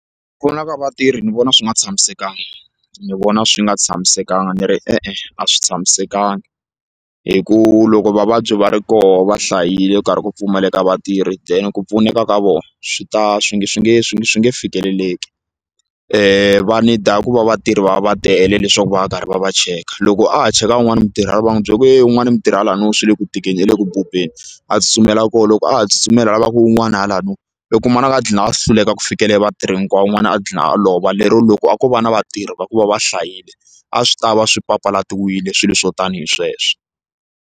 ka vatirhi ni vona swi nga tshamisekanga ni vona swi nga tshamisekanga ni ri e-e a swi tshamisekanga hi ku loko vavabyi va ri koho va hlayile ku karhi ku pfumaleka vatirhi then ku pfuneka ka vona swi ta swi nge swi nge swi swi nge fikeleleki va need ku va vatirhi va va va tele leswaku va karhi va va cheka loko a ha cheka un'wani mutirhi wa n'wi byela ku ye un'wana mutirhi ha la niwa swi le ku tikeni i le ku bubeni a tsutsumela la koho loko a ha tsutsumela lavaka wun'wana hala no u kuma ku a dlina as hluleka ku fikelela vatirhi hinkwavo wun'wana a gqina a lova lero loko a ko va na vatirhi va ku va va hlayile a swi tava swi papalatiwile swilo swo tanihi sweswo.